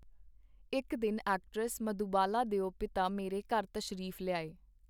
ਇਕ ਦਿਨ ਐਕਟਰੈਸ ਮਧੂਬਾਲਾ ਦਿਓ ਪਿਤਾ ਮੇਰੇ ਘਰ ਤਸ਼ਰੀਫ ਲਿਆਏ.